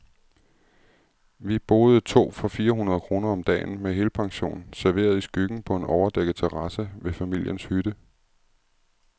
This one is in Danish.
Vi boede to for fire hundrede kroner om dagen, med helpension, serveret i skyggen på en overdækket terrasse ved familiens hytte.